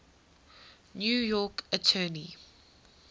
new york attorney